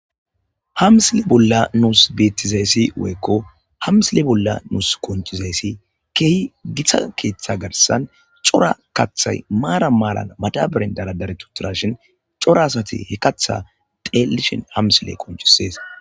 hamsile bolla nuus bettizayssi woyekko hamsile bolla nuus konchizayssi keehi githa keeththa garsan cora kathay maara maalan madabiren dara dare tuturashin cora asati he katha teellishin hamsile konchisees